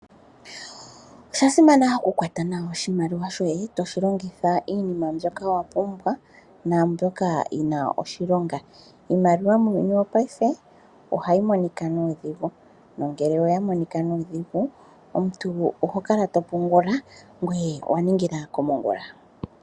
Osha simana oku kwata nawa oshimaliwa shoye toshi longitha iinima mbyoka wa pumbwa naambyoka yina oshilonga. Iimaliwa muuyuni wopayife ohayi monika nuudhigu nongele oya monika nuudhigu omuntu oho kala to pungula ngwe ow ningila komongula.